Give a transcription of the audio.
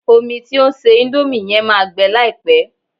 Omi tí o ń se índómì yẹn máa gbẹ láìpẹ́